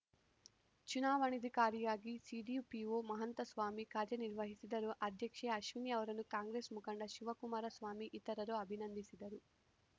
ಚುನಾವಣಾಧಿಕಾರಿಯಾಗಿ CDPO Mahantaswamy ಕಾರ್ಯನಿರ್ವಹಿಸಿದರು ಅಧ್ಯಕ್ಷೆ ಅಶ್ವಿನಿ ಅವರನ್ನು ಕಾಂಗ್ರೆಸ್‌ ಮುಖಂಡ ಶಿವಕುಮಾರಸ್ವಾಮಿ ಇತರರು ಅಭಿನಂದಿಸಿದರು